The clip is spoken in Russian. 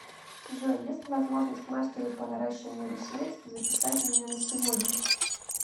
джой есть ли возможность мастеру по наращиванию ресниц записать меня на сегодня